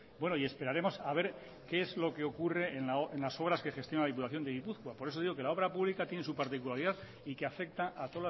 bueno y esperaremos a ver qué es lo que ocurre en las obras que gestiona la diputación de gipuzkoa por eso digo que la obra pública tiene su particularidad y que afecta a